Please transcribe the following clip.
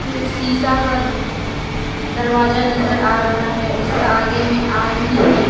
अ शिसा का दरवाजा नजर आ रहा है उसका आगे में आदमी है।